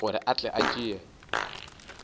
gore a tle a tšee